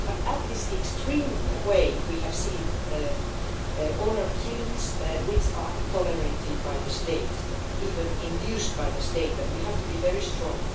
In this extreme way, we have seen honour killings which are tolerated by the state, even induced by the state, and we have to be very strong.